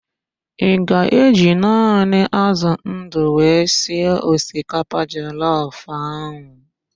Ị ga-eji naanị ázụ̀ ndụ wee sie osikapa jọlọf ahụ?